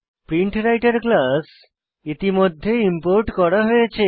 প্রিন্টরাইটের class ইতিমধ্যে import করা হয়েছে